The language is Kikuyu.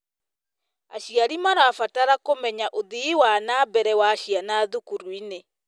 Aciari marabatara kũmenya ũthii wa na mbere wa ciana thukuru-inĩ.